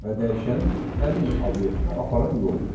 Və dəyişən həmin obyekti aparan yoldur.